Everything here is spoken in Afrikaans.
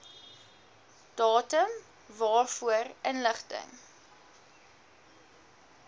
datum waarvoor inligting